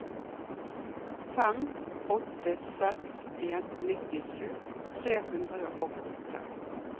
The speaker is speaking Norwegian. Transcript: fem åtte seks en nittisju tre hundre og åtte